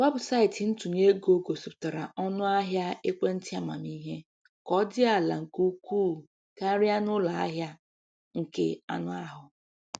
Weebụsaịtị ntụnye gosipụtara ọnụ ahịa ekwentị amamihe ka ọ dị ala nke ukwuu karịa na ụlọ ahịa nke anụ ahụ.